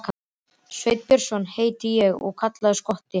Sveinn Björnsson heiti ég og kallaður Skotti.